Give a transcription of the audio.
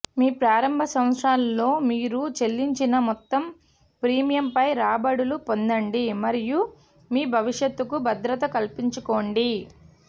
మీ ప్రారంభ సంవత్సరాల్లో మీరు చెల్లించిన్న మొత్తం ప్రీమియంపై రాబడులు పొందండి మరియు మీ భవిష్యత్తుకు భద్రత కల్పించుకోండి